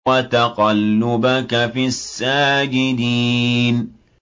وَتَقَلُّبَكَ فِي السَّاجِدِينَ